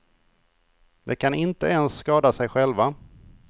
De kan inte ens skada sig själva.